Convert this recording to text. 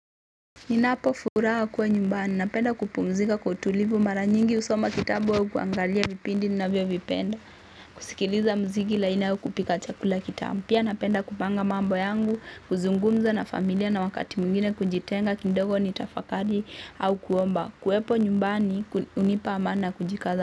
Ninapofuraha kuwa nyumbani napenda kupumzika kwa utulivu mara nyingi husoma kitabu au kuangalia vipindi ninavyovipenda. Kusikiliza muziki laini au kupika chakula kitamu. Pia napenda kupanga mambo yangu, kuzungumza na familia na wakati mwingine kujitenga kidogo nitafakari au kuomba. Kuwepo nyumbani hunipa amani na kujikaza.